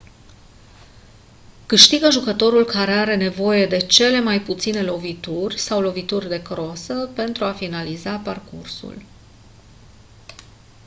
câștigă jucătorul care are nevoie de cele mai puține lovituri sau lovituri de crosă pentru a finaliza parcursul